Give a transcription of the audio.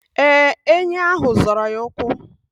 Ee, enyi ahụ zọrọ ya ụkwụ.